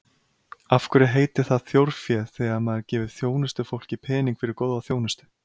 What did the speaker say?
Af hverju heitir það þjórfé þegar maður gefur þjónustufólki pening fyrir góða þjónustu?